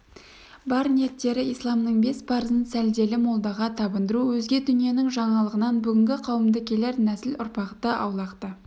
бар ниеттері исламның бес парызын сәлделі молдаға табындыру өзге дүниенің жаңалығынан бүгінгі қауымды келер нәсіл-ұрпақты аулақта